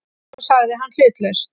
sagði hann hlutlaust.